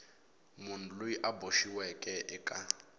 munhu loyi a boxiweke eka